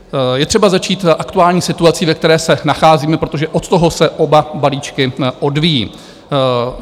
Je třeba začít aktuální situací, ve které se nacházíme, protože od toho se oba balíčky odvíjí.